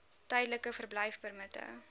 tydelike verblyfpermitte